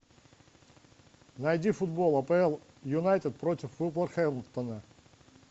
найди футбол апл юнайтед против вулверхэмптона